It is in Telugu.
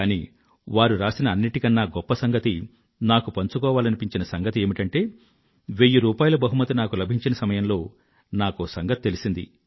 కానీ వారు రాసిన అన్నింటికన్నా గొప్ప సంగతి నాకు పంచుకోవాలనిపించిన సంగతి ఏమిటంటే వెయ్యి రూపాయిల బహుమతి నాకు లభించిన సమయంలో నాకో సంగతి తెలిసింది